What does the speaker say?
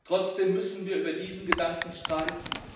Trotzdem müssen wir über diesen Gedanken streiten.